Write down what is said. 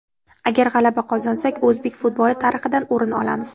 Agar g‘alaba qozonsak, o‘zbek futboli tarixidan o‘rin olamiz.